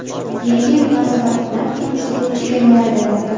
Yangi yil munosabati bilan fitnes-klub chegirmalar bermoqda.